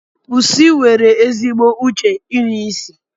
Pusi nwere ezigbo uche inụ isi.